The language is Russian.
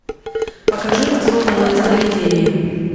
покажи осознанное сновидение